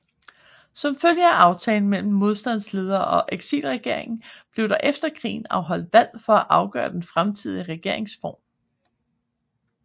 Som følge af aftalen mellem modstandsledere og eksilregeringen blev der efter krigen afholdt valg for at afgøre den fremtidige regeringsform